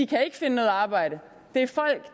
kan ikke finde noget arbejde det